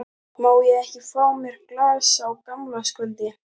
Má ég ekki fá mér glas á gamlárskvöldi?